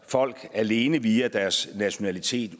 folk alene via deres nationalitet